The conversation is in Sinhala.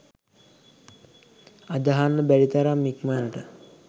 අදහන්න බැරි තරම් ඉක්මනට